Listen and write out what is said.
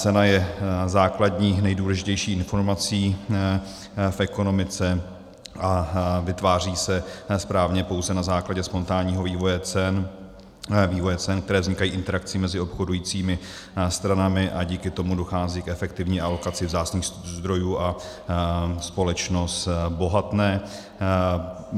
Cena je základní, nejdůležitější informací v ekonomice a vytváří se správně pouze na základě spontánního vývoje cen, které vznikají interakcí mezi obchodujícími stranami, a díky tomu dochází k efektivní alokaci vzácných zdrojů a společnost bohatne.